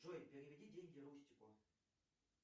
джой переведи деньги рустику